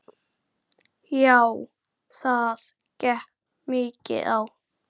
Já það gekk mikið á.